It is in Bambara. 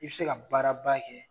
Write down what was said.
I be se ka baaraba kɛ